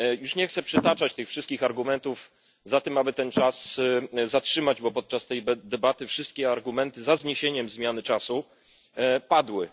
Nie chcę przytaczać wszystkich argumentów za tym, aby czas zatrzymać, bo podczas tej debaty wszystkie argumenty za zniesieniem zmiany czasu już padły.